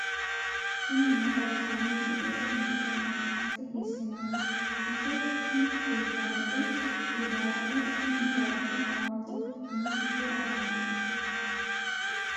tini maa xawissanno misileeti ? mulese noori maati ? hiissinannite ise ? tini kultannori ijaaraho. kuni ijaarino hawaasi quchumi giddo afamannoho.